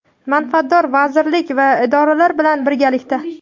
manfaatdor vazirlik va idoralar bilan birgalikda:.